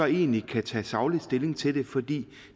egentlig kan tage saglig stilling til det fordi